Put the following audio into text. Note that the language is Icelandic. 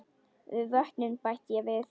Og vötnin bætti ég við.